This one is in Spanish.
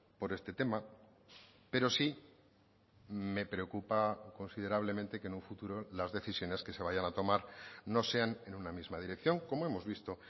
por este tema pero sí me preocupa considerablemente que en un futuro las decisiones que se vayan a tomar no sean en una misma dirección como hemos visto